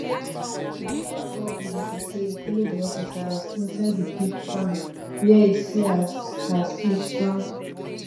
mathole tell bbc say e follow di officers inside di pig farm wia e see as as pigs don